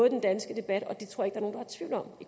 i den danske debat